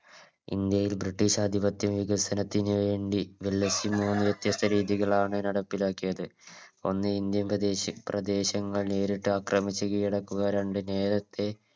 India ഒരു British ആധിപത്യ വികസനത്തിനുവേണ്ടി വ്യത്യസ്ത രീതികളാണ് നടപ്പിലാക്കിയത് ഒന്ന് Indian പ്രദേശി പ്രദേശങ്ങൾ നേരിട്ടാക്രമിച്ച് കീഴടക്കുക രണ്ട് നേരത്തെ